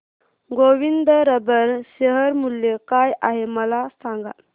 Govind rubber share मूल्य काय आहे मला सांगा